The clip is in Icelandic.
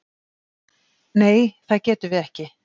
Nei það getum við ekki.